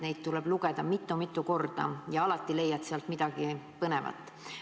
Neid tuleb lugeda mitu-mitu korda ja alati leiad sealt midagi põnevat.